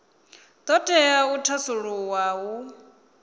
do tea u thasululwa hu